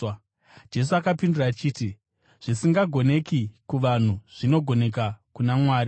Jesu akapindura achiti, “Zvisingagoneki kuvanhu zvinogoneka kuna Mwari.”